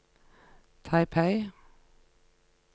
Taipei